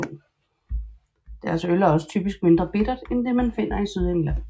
Deres øl er også typisk mindre bittert end det man finder i Sydengland